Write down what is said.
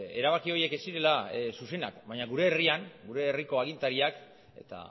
erabaki horiek ez zirela zuzenak baina gure herrian gure herriko agintariak eta